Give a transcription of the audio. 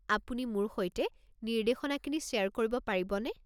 আপুনি মোৰ সৈতে নিৰ্দেশনাখিনি শ্বেয়াৰ কৰিব পাৰিবনে?